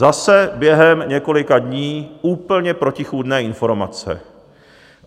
Zase během několika dní úplně protichůdné informace.